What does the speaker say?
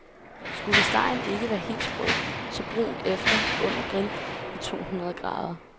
Skulle stegen ikke være helt sprød, så brun efter under grill ved tohundrede grader.